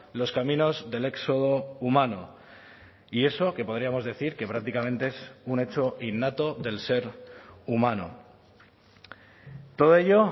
los caminos del éxodo humano y eso que podríamos decir que prácticamente es un hecho innato del ser humano todo ello